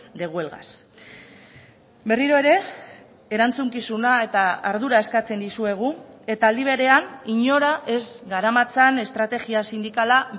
de huelgas berriro ere erantzukizuna eta ardura eskatzen dizuegu eta aldi berean inora ez garamatzan estrategia sindikala